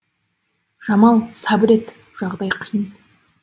жамал сабыр ет жағдай қиын